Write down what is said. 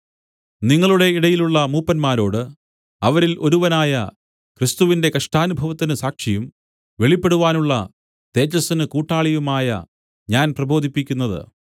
നിങ്ങളുടെ ഇടയിലുള്ള മൂപ്പന്മാരോട് അവരിൽ ഒരുവനായ ക്രിസ്തുവിന്റെ കഷ്ടാനുഭവത്തിന് സാക്ഷിയും വെളിപ്പെടുവാനുള്ള തേജസ്സിന് കൂട്ടാളിയുമായ ഞാൻ പ്രബോധിപ്പിക്കുന്നത്